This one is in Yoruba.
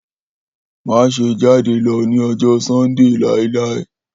Maṣe jade lọ ni ọjọ Sundee lailai!